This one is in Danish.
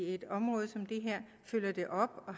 et område som det her og